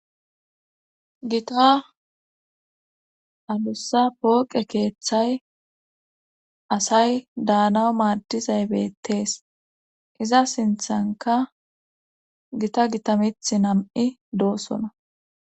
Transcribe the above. gita alussa pooqe keeththay asay daanaw maaddizay beettees iza sinthanka gita gitamith nam7i doosona